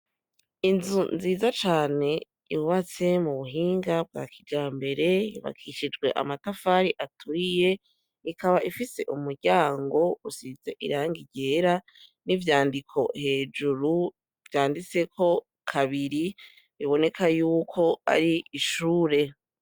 Inzu nziza cane yubatse mu buhinga bwa kijambere yubakishijwe amatafari aturiye ikaba ifise umuryango usize irangi ryera n'ivyandiko hejuru vyanditseko kabiri biboneka yuko ari ishuri.